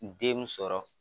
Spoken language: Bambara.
Den mun sɔrɔ.